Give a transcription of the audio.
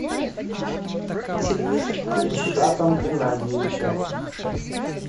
ильшатом геннадьевичем